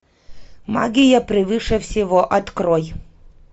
магия превыше всего открой